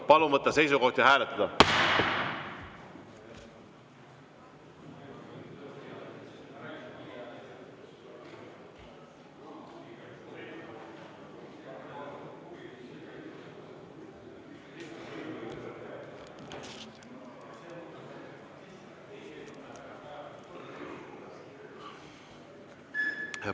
Palun võtta seisukoht ja hääletada!